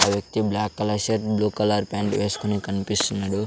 ఆ వ్యక్తి black colour short blue colour pant వేసుకొని కనిపిస్తున్నాడు.